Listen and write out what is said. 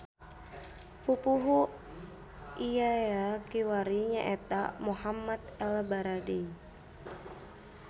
Pupuhu IAEA kiwari nyaeta Mohamed ElBaradei.